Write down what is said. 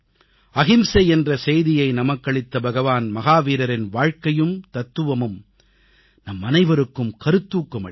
அஹிம்சை என்ற செய்தியை நமக்களித்த பகவான் மஹாவீரரின் வாழ்க்கையும் தத்துவமும் நம்மனைவருக்கும் கருத்தூக்கம் அளிக்கும்